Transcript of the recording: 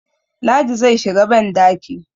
ladi zai shiga bandaki